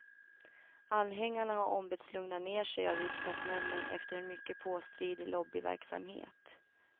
Anhängarna har ombetts lugna ner sig av riksdagsmännen efter en mycket påstridig lobbyverksamhet.